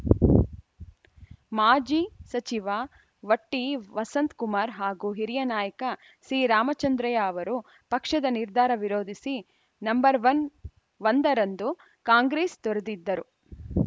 ಮಾಜಿ ಸಚಿವ ವಟ್ಟಿ ವಸಂತ್ ಕುಮಾರ್‌ ಹಾಗೂ ಹಿರಿಯ ನಾಯಕ ಸಿ ರಾಮಚಂದ್ರಯ್ಯ ಅವರು ಪಕ್ಷದ ನಿರ್ಧಾರ ವಿರೋಧಿಸಿ ನಂಬರ್ ವನ್ ಒಂದರಂದು ಕಾಂಗ್ರೆಸ್‌ ತೊರೆದಿದ್ದರು